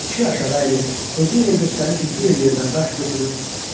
Kişi aşağı əyilir, özünü elə göstərir ki, guya yerdən daş götürür.